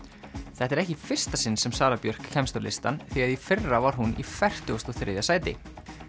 þetta er ekki í fyrsta sinn sem Sara Björk kemst á listann því að í fyrra var hún í fertugasta og þriðja sæti